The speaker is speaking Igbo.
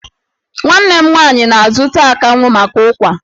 Nwanne m nwaanyị na-azụta akanwụ maka ụ́kwà.